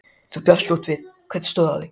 Lóa: Þú brást skjótt við, hvernig stóð á því?